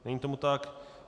Není tomu tak.